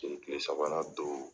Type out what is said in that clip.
Kile sabanan don